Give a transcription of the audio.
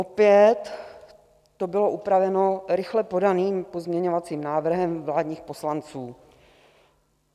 Opět to bylo upraveno rychle podaným pozměňovacím návrhem vládních poslanců.